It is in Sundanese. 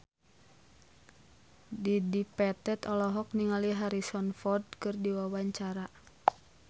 Dedi Petet olohok ningali Harrison Ford keur diwawancara